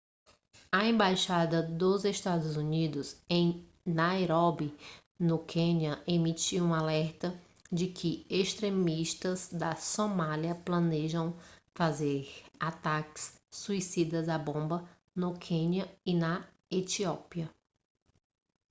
a embaixada dos estados unidos em nairóbi no quênia emitiu um alerta de que extremistas da somália planejam fazer ataques suicidas à bomba no quênia e na etiópia